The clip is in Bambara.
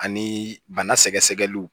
Ani bana sɛgɛsɛgɛliw